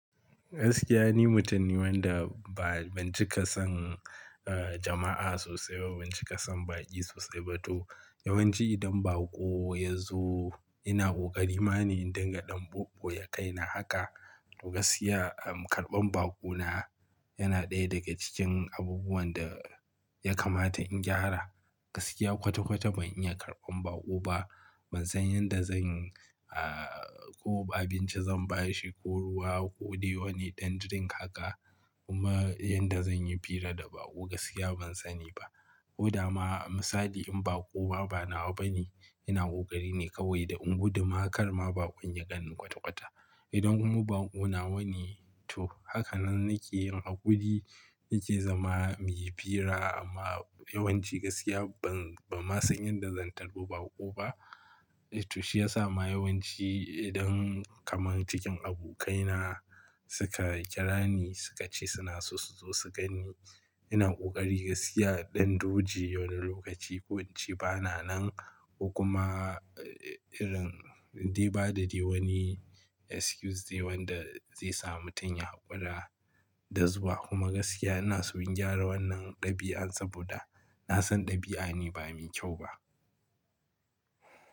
Gaskiya ni mutum ne wanda ba ban cika son, eh jama'a sosai ba, ban cika son baƙi sosai ba toh. Yawanci idan baƙo ya zo ina ƙoƙari ma ne in dinga ɗan bubbu ya kai na haka. Gaskiya, ah karɓan baƙo na yana ɗaya daga cikin abubuwan da ya kamata in gyara. Gaskiya kwata kwata ban iya karɓan baƙo ba. Ban san yadda zan yi, ah ko abinci zan ba shi ko ruwa ko dai wani ɗan drink haka. Kuma yadda zan yi fira da baƙo gaskiya ban sani ba. Ko dama misali in baƙo ma bana wa bane ina ƙoƙari ne kawai da in gudu ma har ma baƙon ya ganni kwata kwata. Idan kuma bako na wa ne to hakanan nake yin haƙuri nake zama muyi fira amma yawanci gaskiya ban, ban ma san yadda zan tari baƙo ba. To shi ya sa ma yawanci idan kamar cikin abokaina suka kira ni suka ce suna so su zo su gan ni ina ƙoƙari gaskiya ɗan duji wani lokaci ko wanci bana nan. Ko kuma irin dai ba da dai wani excuse ne wanda zai sa mutum ya haƙura da zuwa. Kuma gaskiya ina so in gyara wannan ɗabi'an saboda na san ɗabi'a ne ba mai kyau ba.